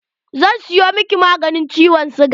Zan siyo miki maganin ciwon siga.